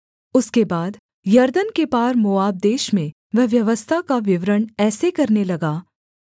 उसके बाद यरदन के पार मोआब देश में वह व्यवस्था का विवरण ऐसे करने लगा